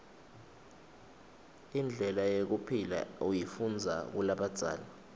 indlela yekuphila uyifundiza kulabadzala